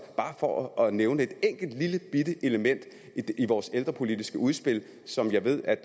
bare for at nævne et enkelt lillebitte element i vores ældrepolitiske udspil som jeg ved at